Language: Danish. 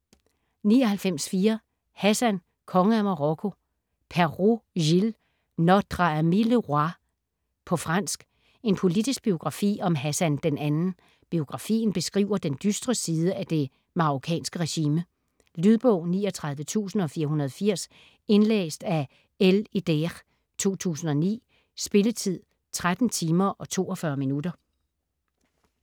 99.4 Hassan, konge af Marokko Perrault, Gilles: Notre ami le roi På fransk. En politisk biografi om Hassan II. Biografien beskriver den dystre side af det marokkanske regime. Lydbog 39480 Indlæst af L. Eder, 2009. Spilletid: 13 timer, 42 minutter.